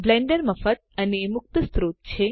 Blender મફત અને મુક્ત સ્ત્રોત છે